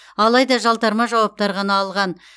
алайда жалтарма жауаптар ғана алған